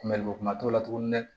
Kunbɛliboli kuma t'o la tuguni dɛ